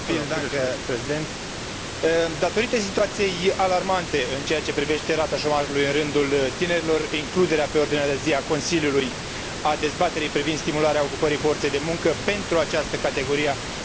Datorită situației alarmante în ceea ce privește rata șomajului în rândul tinerilor, includerea pe ordinea de zi a Consiliului a dezbaterii privind stimularea ocupării forței de muncă pentru această categorie a populației, a fost foarte benefică.